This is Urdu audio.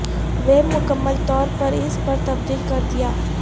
ویب مکمل طور پر اس پر تبدیل کر دیا